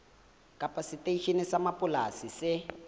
kapa seteisheneng sa mapolesa se